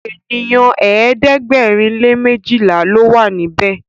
ènìyàn ẹ̀ẹ́dẹ̀gbẹ̀rin lè mejila ló wà níbè.